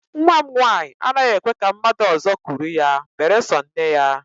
Nnwa m nwaanyị anaghị ekwe ka mmadụ ọzọ kuru ya beresọ nne ya